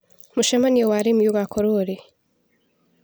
Mũcemanio wa arĩmi ũgakorwo rĩ.